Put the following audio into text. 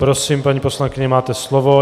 Prosím, paní poslankyně, máte slovo.